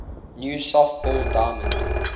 new softball diamond